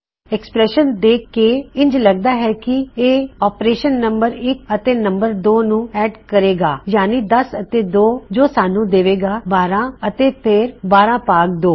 expression ਦੇਖ ਕੇ ਇੰਜ ਲਗਦਾ ਹੈ ਕੀ ਇਹ ਆਪਰੇਸ਼ਨ ਨੰਮ1 ਅਤੇ ਨੰਮ2 ਨੂੰ ਐੱਡ ਕਰੇ ਗਾ ਯਾਨੀ 10 ਅਤੇ 2 ਜੋ ਸਾਨੂੰ ਦੇਵੇਗਾ 12 ਅਤੇ ਫੇਰ 12 ਭਾਗ 2